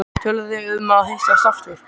Töluðuð þið um að hittast aftur?